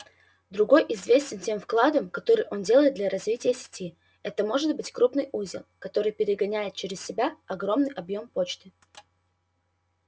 другой известен тем вкладом который он делает для развития сети это может быть крупный узел который перегоняет через себя огромный объём почты